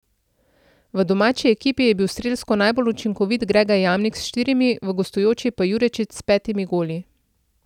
V domači ekipi je bil strelsko najbolj učinkovit Grega Jamnik s štirimi, v gostujoči pa Jurečič s petimi goli.